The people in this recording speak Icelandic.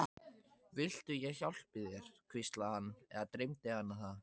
Viltu ég hjálpi þér, hvíslaði hann- eða dreymdi hana það?